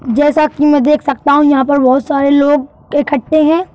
जैसा कि मैं देख सकता हूं यहाँ पर बहुत सारे लोग इकट्ठे हैं।